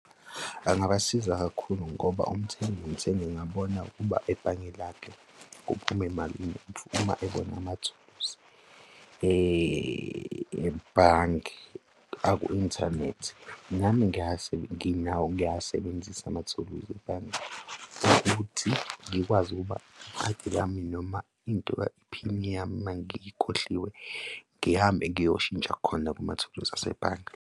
Angabasiza kakhulu ngoba umthengi ngabona ukuba ebhange lakhe kuphume malini uma ebona amathuluzi ebhange aku-inthanethi. Nami ngiyazi, nginawo ngiyawasebenzisa amathuluzi ebhange, ukuthi ngikwazi ukuba ikhadi lami noma iphini yami mangiyikhohliwe, ngihambe ngiyoshintsha khona kumathuluzi asebhange.